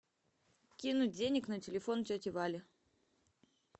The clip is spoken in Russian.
кинуть денег на телефон тете вале